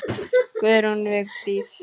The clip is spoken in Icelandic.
Guðrún Vignis.